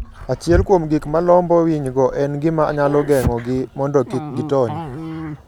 Achiel kuom gik malombo winygo, en gima nyalo geng'ogi mondo kik gitony.